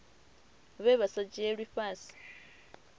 vhe vha vha sa dzhielwi